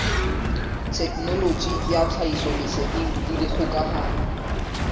thekenoloji ya tlhahisoleseding le dikgokahano